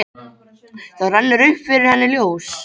Þá rennur upp fyrir henni ljós.